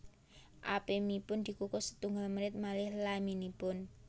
Apemipun dikukus setunggal menit malih laminipun